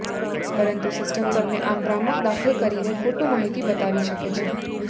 પરંતુ સિસ્ટમ તમે આમ ભ્રામક દાખલ કરીને ખોટું માહિતી બતાવી શકે છે